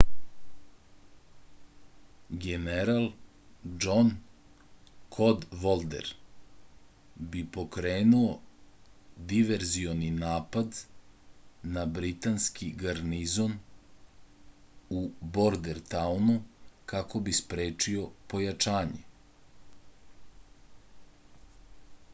general džon kodvolder bi pokrenuo diverzioni napad na britanski garnizon u bordentaunu kako bi sprečio pojačanje